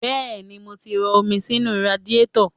Bẹ́ẹ̀ni, mo ti rọ omi sínú radiétọ̀